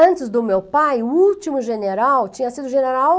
Antes do meu pai, o último general, tinha sido general...